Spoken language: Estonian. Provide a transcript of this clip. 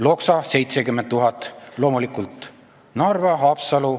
Loksa saab 70 000, raha saavad loomulikult Narva ja Haapsalu.